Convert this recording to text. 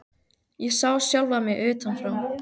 Ég sá sjálfa mig utan frá.